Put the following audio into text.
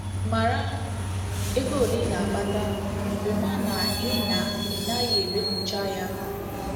Mara ego ole ị na - akpata, hụkwa na ị na ị naghị emefucha ya.